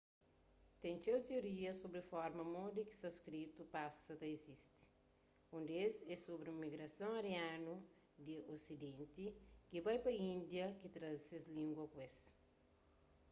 ten txeu tiorias sobri forma modi ki sanskritu pasa ta izisti un des é sobri un migrason arianu di osidenti ki bai pa índia ki traze ses língua ku es